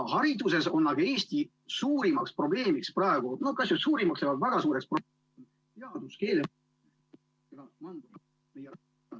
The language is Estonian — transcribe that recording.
Hariduses on aga Eesti suurim probleem praegu, või kas just suurim, aga väga suur probleem teaduskeel ... [Ühendus hakib.